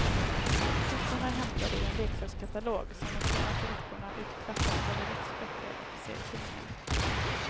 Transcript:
Siffrorna är hämtade ur en leksakskatalog som de senaste veckorna utklassat både läxböcker och serietidningar.